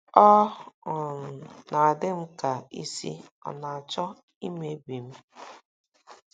” Ọ um na - adị m ka isi ọ̀ na - achọ imebi m. ”